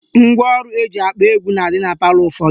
Ngwaọrụ eji akpọ egwu na-adị na palọ ụfọdụ